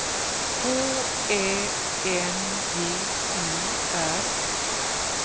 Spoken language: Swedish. H Ä N G E R